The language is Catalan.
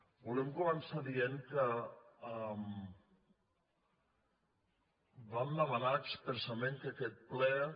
volem començar dient que vam demanar expressament que aquest ple